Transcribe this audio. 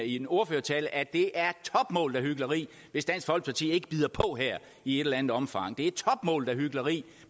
i min ordførertale at det er topmålet af hykleri hvis dansk folkeparti ikke bider på her i et eller andet omfang det er topmålet af hykleri